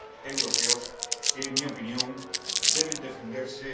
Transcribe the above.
europeos, que, en mi opinión, también deben defenderse.